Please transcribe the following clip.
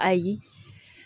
Ayi